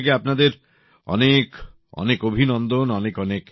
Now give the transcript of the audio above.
আমার পক্ষ থেকে আপনাদের অনেক অভিনন্দন